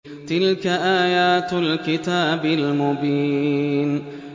تِلْكَ آيَاتُ الْكِتَابِ الْمُبِينِ